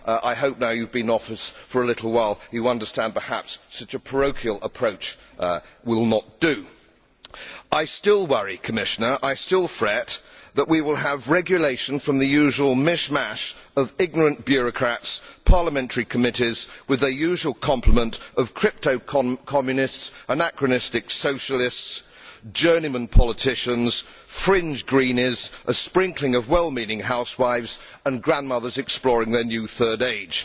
I hope, now that you have been in office for a little while, you will understand that perhaps such a parochial approach will not do. I still worry, Commissioner. I still fret that we will have regulation from the usual mishmash of ignorant bureaucrats, parliamentary committees with their usual complement of cryptocommunists, anachronistic socialists, journeymen politicians, fringe greenies, a sprinkling of well meaning housewives, and grandmothers exploring their new third age.